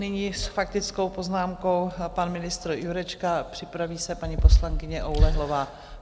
Nyní s faktickou poznámkou pan ministr Jurečka, připraví se paní poslankyně Oulehlová.